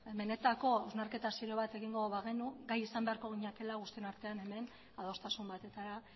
benetako hausnarketa serio bat egingo bagenu gai izan beharko ginatekeela guztion artean hemen adostasun batetara